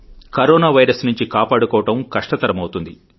corona virus నుంచి కాపాడుకోవడం కష్టతరమవుతుంది